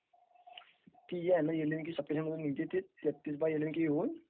is not clear